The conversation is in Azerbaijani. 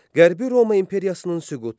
Qərbi Roma imperiyasının süqutu.